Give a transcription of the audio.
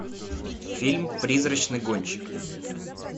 фильм призрачный гонщик